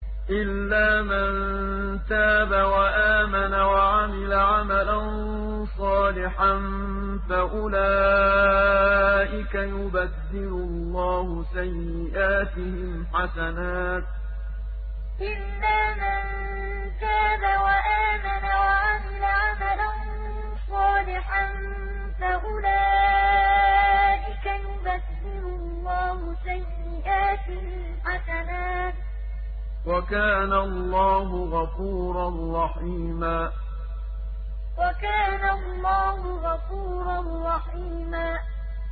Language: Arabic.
إِلَّا مَن تَابَ وَآمَنَ وَعَمِلَ عَمَلًا صَالِحًا فَأُولَٰئِكَ يُبَدِّلُ اللَّهُ سَيِّئَاتِهِمْ حَسَنَاتٍ ۗ وَكَانَ اللَّهُ غَفُورًا رَّحِيمًا إِلَّا مَن تَابَ وَآمَنَ وَعَمِلَ عَمَلًا صَالِحًا فَأُولَٰئِكَ يُبَدِّلُ اللَّهُ سَيِّئَاتِهِمْ حَسَنَاتٍ ۗ وَكَانَ اللَّهُ غَفُورًا رَّحِيمًا